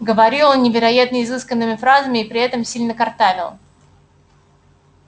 говорил он невероятно изысканными фразами и при этом сильно картавил